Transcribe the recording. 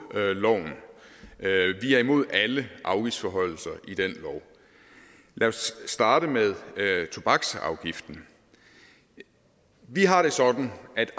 loven vi er imod alle afgiftsforhøjelser i den lov lad os starte med tobaksafgiften vi har det sådan at